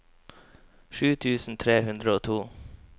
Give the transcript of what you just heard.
sju tusen tre hundre og to